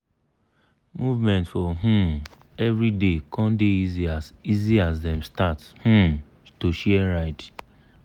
movement for um everyday com dey easy as easy as dem start um to share ride.